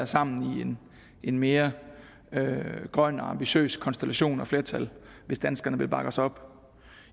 sammen i en mere grøn og ambitiøs konstellation og flertal hvis danskerne vil bakke os op